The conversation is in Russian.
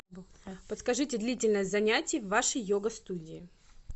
подскажите длительность занятий в вашей йога студии